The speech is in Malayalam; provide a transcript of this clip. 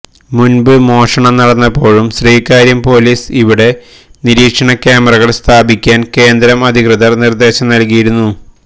മുന്പ് മോഷണം നടന്നപ്പോഴും ശ്രീകാര്യം പോലീസ് ഇവിടെ നിരീക്ഷണ ക്യാമറകള് സ്ഥാപിക്കാന് കേന്ദ്രം അധികൃതര്ക്ക് നിര്ദ്ദേശം നല്കിയിരുന്നു